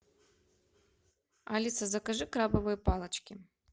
алиса закажи крабовые палочки